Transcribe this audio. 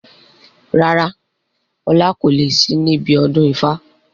Rárá, ọlá kò lè sì níbi ọdún ifá.